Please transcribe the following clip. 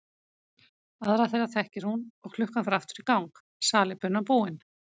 Aðra þeirra þekkir hún og klukkan fer aftur í gang, salíbunan búin.